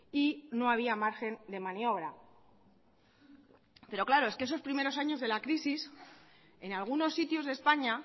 y no había margen de maniobra pero claro es que esos primeros años de la crisis en algunos sitios de españa